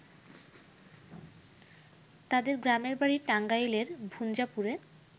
তাদের গ্রামের বাড়ি টাঙ্গাইলের ভুঞাপুরে।